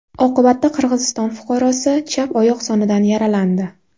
Oqibatda Qirg‘iziston fuqarosi chap oyoq sonidan yaralandi.